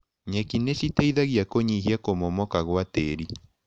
Nyeki nĩciteithagia kũnyihia kũmomoka gwa tĩrĩ.